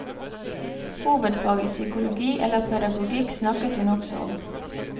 Hovedfag i psykologi eller pedagogikk snakket hun også om.